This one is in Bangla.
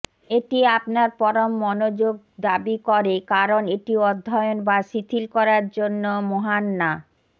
এটি আপনার পরম মনোযোগ দাবি করে কারণ এটি অধ্যয়ন বা শিথিল করার জন্য মহান না